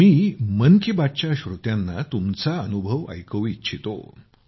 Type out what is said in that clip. मी मन की बात च्या श्रोत्यांना तुमचा अनुभव ऐकवू इच्छितो